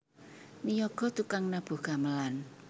Niyaga tukang nabuh gamelan